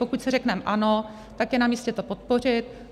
Pokud si řekneme ano, tak je na místě to podpořit.